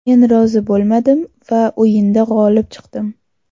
Men rozi bo‘lmadim va o‘yinda g‘olib chiqdim.